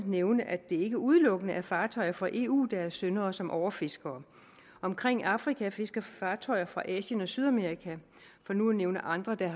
nævne at det ikke udelukkende er fartøjer fra eu der er synderne og som overfisker omkring afrika fisker der fartøjer fra asien og sydamerika for nu at nævne andre der